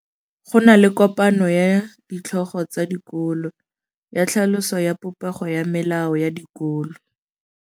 Go na le kopanô ya ditlhogo tsa dikolo ya tlhaloso ya popêgô ya melao ya dikolo.